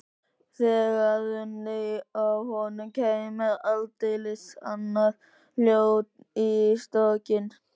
Þegar rynni af honum kæmi aldeilis annað hljóð í strokkinn.